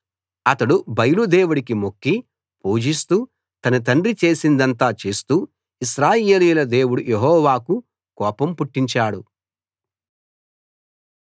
అతడు బయలు దేవుడికి మొక్కి పూజిస్తూ తన తండ్రి చేసిందంతా చేస్తూ ఇశ్రాయేలీయుల దేవుడు యెహోవాకు కోపం పుట్టించాడు